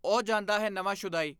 ਔਹ ਜਾਂਦਾ ਹੈ ਨਵਾਂ ਸ਼ੁਦਾਈ